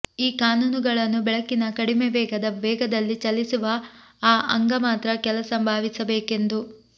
ಈ ಕಾನೂನುಗಳನ್ನು ಬೆಳಕಿನ ಕಡಿಮೆ ವೇಗದ ವೇಗದಲ್ಲಿ ಚಲಿಸುವ ಆ ಅಂಗ ಮಾತ್ರ ಕೆಲಸ ಭಾವಿಸಬೇಕೆಂದು